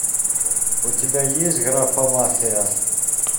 у тебя есть графомафия